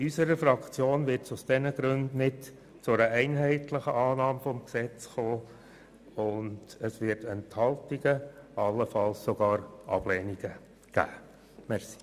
In unserer Fraktion wird es aus diesen Gründen nicht zu einer einheitlichen Annahme des Gesetzes kommen und es wird Enthaltungen, allenfalls sogar Ablehnungen geben.